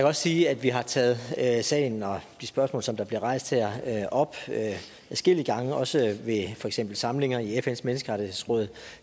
også sige at vi har taget sagen og de spørgsmål der bliver rejst her her op adskillige gange også ved samlinger i fns menneskerettighedsråd